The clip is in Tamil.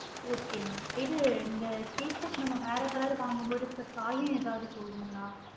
okay mam இது இந்த t-shirt நம்ம வேற color வாங்கு போது சாயம் ஏதாவது போகுங்களா?